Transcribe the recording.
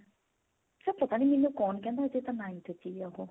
ਪਤਾ ਨੀ ਮੈਨੂੰ ਕੌਣ ਕਹਿੰਦਾ ਸੀ ਇਹ ਤਾਂ ninth ਚ ਈ ਆ ਉਹ